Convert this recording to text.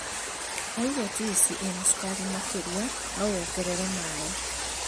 Waigua njuici ĩna cukari makĩria no wongerere maaĩ